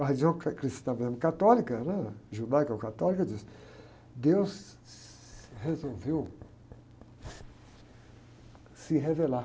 A religião que é cristã mesmo, católica, né? Judaica ou católica, diz deus resolveu se revelar.